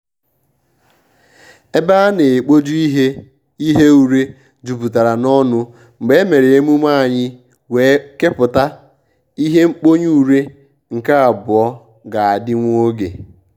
ébè á nà-ékpójù ìhè ìhè úrè jùpùtàrà n’ọ́nụ́ mgbè èmèrè èmùmè ànyị́ wèé kèpụ́tà ìhè nkpónyé úrè nke àbụọ́ gà-àdị́ nwògè.